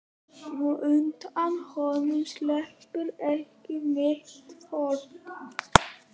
Og undan honum sleppur ekki mitt fólk.